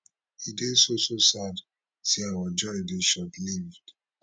e dey so so sad say our joy dey shortlived